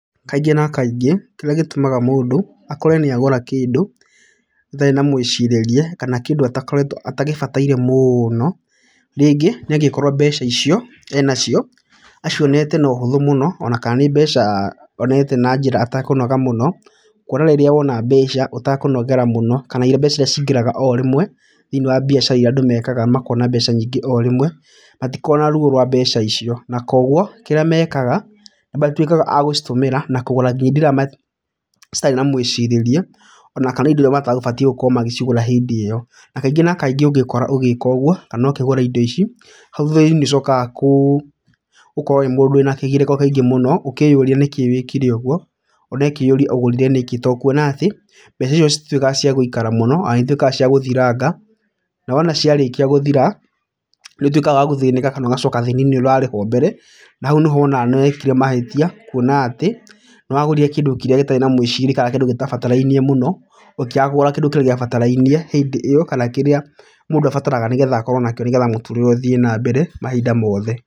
Kaingĩ na kaingĩ, kĩrĩa gĩtũmaga mũndũ akore nĩagũra kĩndũ atarĩ na mwĩcirĩrie kana kĩndũ atakoretwo, atagĩbataire mũno, rĩngĩ nĩ angĩkorwo mbeca icio enacio acionete na ũhũthũ mũno ona kana nĩ mbeca onete na njĩra atekũnoga mũno. Kuona rĩrĩa wona mbeca ũtakũnogera mũno kana mbeca iria cingagĩra orĩmwe thĩinĩ wa biacara iria andũ mekaga makona mbeca nyingĩ orĩmwe matikoragwo na ruo rwa mbeca icio. Na koguo kĩrĩa mekaga nĩmatwĩkaga agũcitũmĩra na kũgũra ngĩnya indo ĩrĩa mat citarĩ na mwĩcirĩrie ona kana ĩndo iria mategũbatie gũkorwo magĩcigũra hĩndĩ ĩyo. Na kaingĩ na kaingĩ ũngĩkora ũgĩka ũguo kana ũkĩgũra indo ici, hau thutha-inĩ nĩ ũcokaga gũkorwo wĩ mũndũ wĩna kĩgirĩko kĩingĩ mũno ũkĩyũria nĩkĩĩ wĩkire ũguo ona ũkeyũria ũgũrire nĩkĩ, ta kuona atĩ mbeca icio itituĩkaga ciagũikara mũno na nĩituĩkaga ciagũthiranga, na wona ciarĩkia gũthira, nĩ ũtwĩkaga wa gũthĩnĩka kana ũgacoka thĩĩna-inĩ ũria warĩ ho mbere, hau nĩho wonaga nĩ wekire mahĩtia kuona atĩ nĩ wagũrire kĩndũ kĩrĩa gĩtarĩ na mwĩcirĩrie kana kĩndũ gĩtabatarainie mũno ũkĩaga kũgũra kĩndũ kĩrĩa gĩabatarainie hĩndĩ ĩyo kana kĩrĩa mũndũ abataraga nĩgetha akorwo nakĩo nĩgetha mũtũrĩre ũthiĩ na mbere mahinda mothe.